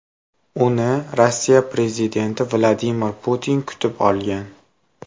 Uni Rossiya prezidenti Vladimir Putin kutib olgan.